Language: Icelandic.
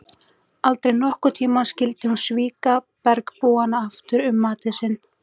Aldrei nokkurn tíma skyldi hún svíkja bergbúana aftur um matinn sinn.